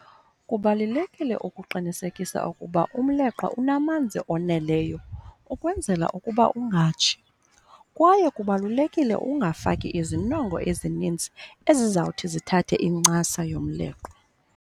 Kubalulekile ukuqinisekisa ukuba umleqwa unamanzi oneleyo ukwenzela ukuba ungatshi, kwaye kubalulekile ungafaki izinongo ezinintsi ezizawuthi zithathe incasa yomleqwa.